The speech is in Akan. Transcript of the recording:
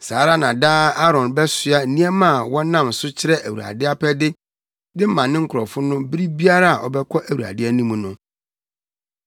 Saa ara na daa Aaron bɛsoa nneɛma a wɔnam so kyerɛ Awurade apɛde de ma ne nkurɔfo no bere biara a ɔbɛkɔ Awurade anim no.